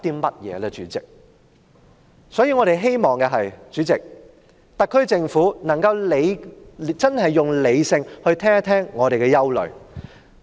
代理主席，我們希望特區政府能夠理性聆聽我們的憂慮。